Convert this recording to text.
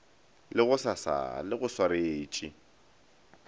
la gosasa le go swaretše